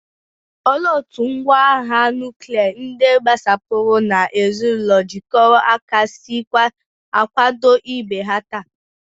Olee otú ngwá agha nuklia, ndị gbasapụrụ, na ezinụlọ jikọrọ aka si akwado ibe ha taa?